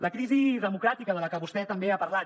la crisi democràtica de la que vostè també ha parlat